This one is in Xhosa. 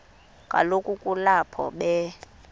kaloku kulapho be